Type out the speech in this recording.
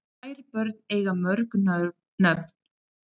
Kær börn eiga mörg nöfn